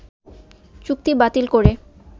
চুক্তি বাতিল করে